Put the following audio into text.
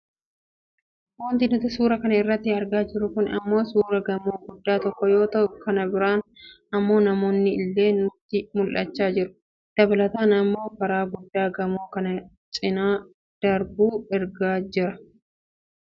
Wanti nuti suura kana irratti argaa jirru kun ammoo suuraa gamoo guddaa tokkoo yoo ta'u, kana biraan ammoo namoonni illee nutti mul'achaa jiru. Dabalataan ammoo karaa guddaa gamoo kana cinaa darbu argaa jirra.